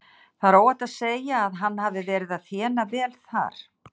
Það er óhætt að segja að hann hafi verið að þéna vel þar.